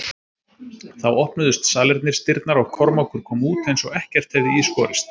Þá opnuðust salernisdyrnar og Kormákur kom út eins og ekkert hefði í skorist.